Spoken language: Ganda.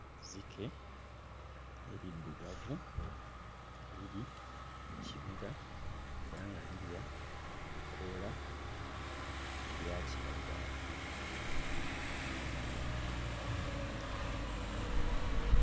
Zzike eriddugavu nga liri mu kibira era nga lirya ebikoola ebya kiragala.